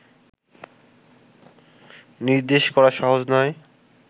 নির্দেশ করা সহজ নয়